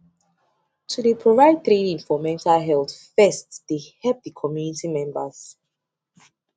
to dey provide training for mental health first dey help dey community members